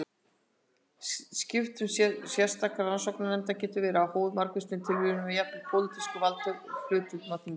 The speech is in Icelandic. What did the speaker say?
Skipun sérstakra rannsóknarnefnda getur verið háð margvíslegum tilviljunum og jafnvel pólitískum valdahlutföllum á þingi.